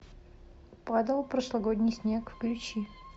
падал прошлогодний снег включи